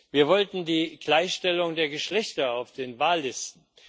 Wir wollten die Gleichstellung der Geschlechter auf den Wahllisten.